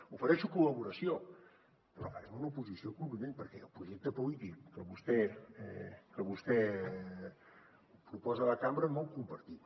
ofereixo col·laboració però farem una oposició contundent perquè el projecte polític que vostè proposa a la cambra no el compartim